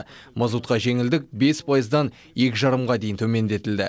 мазутқа жеңілдік бес пайыздан екі жарымға дейін төмендетілді